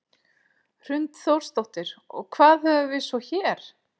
Hrund Þórsdóttir: Og hvað höfum við svo hér?